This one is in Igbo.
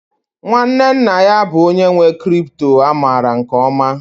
Nwanne nna ya bụ onye nwe crypto a maara nke ọma